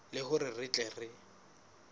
le hore re tle re